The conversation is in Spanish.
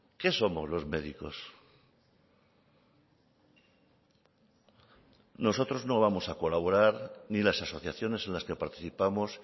qué somos los médicos nosotros no vamos a colaborar ni las asociaciones en las que participamos